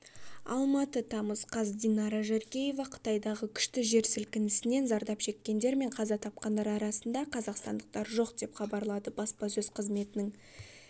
алматы тамыз қаз динара жаркеева қытайдағы күшті жер сілкінісінен зардап шеккендер мен қаза тапқандар арасында қазақстандықтар жоқ деп хабарлады баспасөз қызметінің